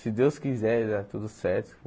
Se Deus quiser, de dar tudo certo.